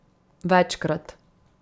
Večkrat.